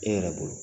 E yɛrɛ bolo